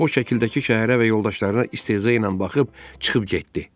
O şəkildəki şəhərə və yoldaşlarına istehza ilə baxıb çıxıb getdi.